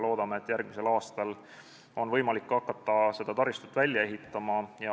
Loodame, et järgmisel aastal on võimalik hakata seda taristut ehitama.